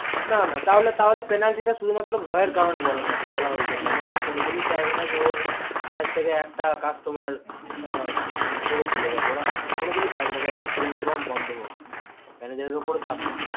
না না তাহলে penalty শুধু মাত্র ভয়ের কারণে বলা হয়েছে manager কোনো দিনই চাইবে না ওর branch থেকে একটাও customer আ মানে ছেড়ে চলে যাক ওরা কোনোদিনই চাইবে না save account বন্ধ হোক manager উপর চাপ থাকবে